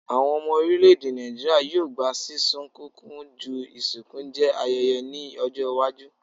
Awọn ọmọ orilẹ-ede Naijiria yoo gba sisun kuku ju isinku jẹ ayẹyẹ ni ọjọ iwaju